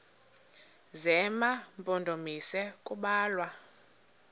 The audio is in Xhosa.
zema mpondomise kubalwa